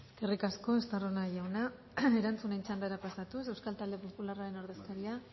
eskerrik asko eskerrik asko estarrona jauna erantzuten txandara pasatuz euskal talde popularraren ordezkaria